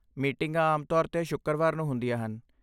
ਮੀਟਿੰਗਾਂ ਆਮ ਤੌਰ 'ਤੇ ਸ਼ੁੱਕਰਵਾਰ ਨੂੰ ਹੁੰਦੀਆਂ ਹਨ।